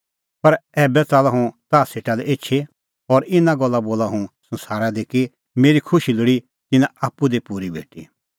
पर ऐबै च़ाल्लअ हुंह ताह सेटा लै एछी और इना गल्ला बोला हुंह संसारा दी कि मेरी खुशी लोल़ी तिन्नां आप्पू दी पूरी भेटी